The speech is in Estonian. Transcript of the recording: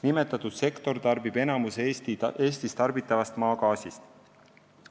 Nimetatud sektor tarbib enamiku Eestis tarbitavast maagaasist.